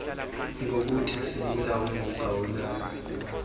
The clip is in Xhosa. ngokuthi sibulawe ngugawulayo